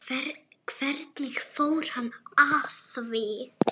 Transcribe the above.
Hvernig fór hann að því?